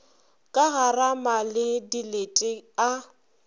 ka garama le dilete a